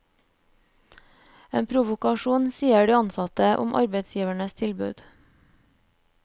En provokasjon, sier de ansatte om arbeidsgivernes tilbud.